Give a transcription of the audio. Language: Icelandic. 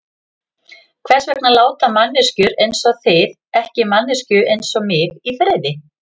Hvers vegna láta manneskjur einsog þið ekki manneskju einsog mig í friði?